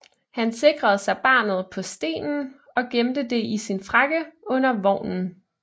Han sikrede sig barnet på stenen og gemte det i sin frakke under vognen